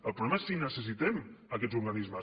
el problema és si necessitem aquests organismes